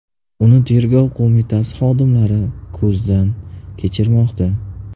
Uni Tergov qo‘mitasi xodimlari ko‘zdan kechirmoqda.